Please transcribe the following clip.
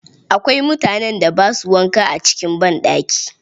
Akwai mutanen da ba su wanka a cikin banɗaki.